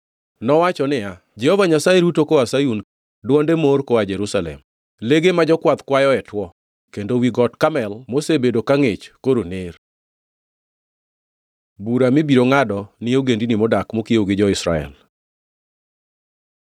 Nowacho niya, “Jehova Nyasaye ruto koa Sayun, kendo dwonde mor koa Jerusalem; lege ma jokwath kwayoe two, kendo wi got Karmel mosebedo ka ngʼich koro ner.” Bura mibiro ngʼado ni ogendini modak mokiewo gi jo-Israel